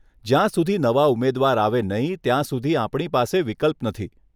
જ્યાં સુધી નવા ઉમેદવાર આવે નહીં, ત્યાં સુધી આપણી પાસે વિકલ્પ નથી.